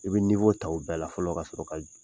I bɛ ta o bɛɛ la fɔlɔ ka sɔrɔ ka jigin.